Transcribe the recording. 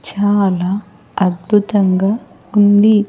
చాలా అద్భుతంగా ఉంది.